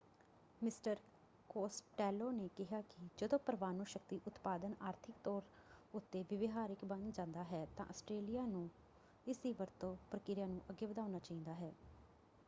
Mister Costello ਨੇ ਕਿਹਾ ਕਿ ਜਦੋ ਪਰਮਾਣੂ ਸ਼ਕਤੀ ਉਤਪਾਦਨ ਆਰਥਿਕ ਤੌਰ ਉੱਤੇ ਵਿਵਹਾਰਿਕ ਬਣ ਜਾਂਦਾ ਹੈ ਤਾਂ ਆਸਟ੍ਰੇਲਿਆ ਨੂੰ ਇਸਦੀ ਵਰਤੋਂ ਪ੍ਰਕਿਰਿਆ ਨੂੰ ਅੱਗੇ ਵਧਾਉਣਾ ਚਾਹੀਦਾ ਹੈ।